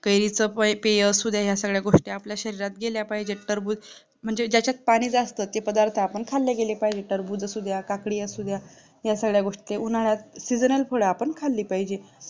कैरीच्या पेय पेय असू द्या, या सगळ्या गोष्ट आपल्या शरीरात गेल्या पाहिजे तरबूज, म्हणजे ज्याच्यात पाणी जास्त ते पदार्थ आपण खाल्ल्या गेले पाहिजे टरबूज असू द्या, काकडी असू द्या या सगळ्या गोष्टी उन्हाळ्या seasonal फळे आपण खाल्ली पाहिजे